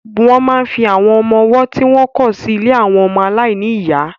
Wọ́n máa ń fi àwọn ọmọwọ́ tí wọ́n kọ̀ sí ilé àwọn ọmọ aláìní ìyá.